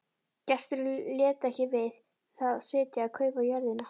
Gesturinn lét ekki við það sitja að kaupa jörðina.